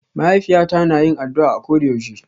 Ma'haifiyata na yin addu'a koda yaushe.